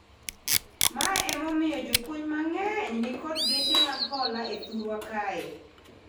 Ma ema omiyo jopuonj mangeny nikod geche mag hola e thurwa kae